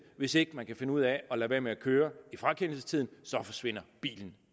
hvis ikke man kan finde ud af at lade være med at køre i frakendelsestiden forsvinder bilen